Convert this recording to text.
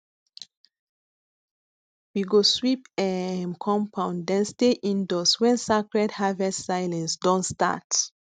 we go sweep um compound then stay indoors when sacred harvest silence don start